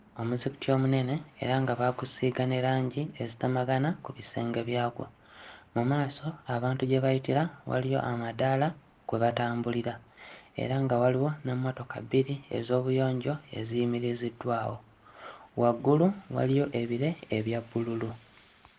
Omuzikiti omunene era nga baagusiiga ne langi ezitamagana ku bisenge byagwo. Mu maaso abantu gye bayitira waliyo amadaala kwe batambulira era nga waliwo n'emmotoka bbiri ez'obuyonjo eziyimiriziddwawo. Waggulu waliyo ebire ebya bbululu.